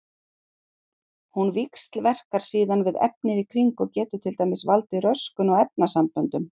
Hún víxlverkar síðan við efnið í kring og getur til dæmis valdið röskun á efnasamböndum.